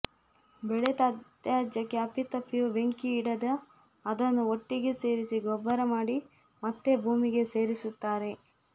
ಬೆಳೆ ತ್ಯಾಜ್ಯಕ್ಕೆ ಅಪ್ಪಿತಪ್ಪಿಯೂ ಬೆಂಕಿಯಿಡದೆ ಅದನ್ನು ಒಟ್ಟಿಗೆ ಸೇರಿಸಿ ಗೊಬ್ಬರಮಾಡಿ ಮತ್ತೆ ಭೂಮಿಗೆ ಸೇರಿಸುತ್ತಾರೆ